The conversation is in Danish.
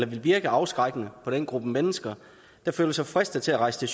vil virke afskrækkende på den gruppe mennesker der føler sig fristet til at rejse